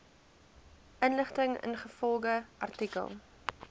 inligting ingevolge artikel